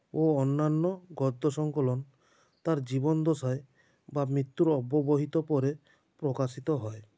ও অন্যান্য গদ্য সংকলন তাঁর জীবন দশায় বা মৃত্যুর অব্যবহিত পরে প্রকাশিত হয়